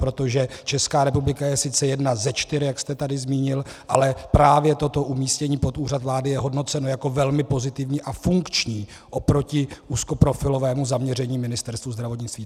Protože Česká republika je sice jedna ze čtyř, jak jste tady zmínil, ale právě to umístění pod Úřad vlády je hodnoceno jako velmi pozitivní a funkční oproti úzkoprofilovému zaměření Ministerstva zdravotnictví.